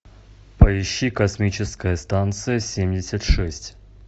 поищи космическая станция семьдесят шесть